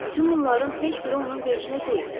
Bütün bunların heç biri onun vecimə deyil.